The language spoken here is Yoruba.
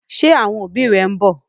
Ṣé àwọn òbí rẹ ń bọ̀?